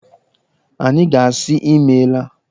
Anyị ga-asị Imeela.